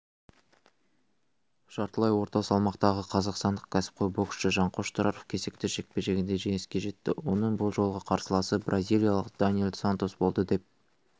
жартылай орта салмақтағы қазақстандық кәсіпқой боксшы жанқош тұраров кезекті жекпе-жегінде жеңіске жетті оның бұл жолғы қарсыласы бразилиялық даниэл сантос болды деп